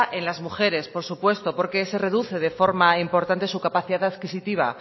en las mujeres por supuesto porque se reduce de forma importante su capacidad adquisitiva